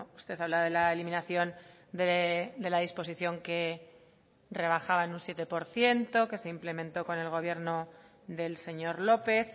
usted habla de la eliminación de la disposición que rebajaba en un siete por ciento que se implementó con el gobierno del señor lópez